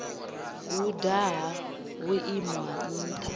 guda ha vhuimo ha nṱha